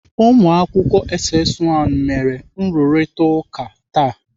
Ụmụakwụkwọ SS 1 mere nrụrịtaụka taa.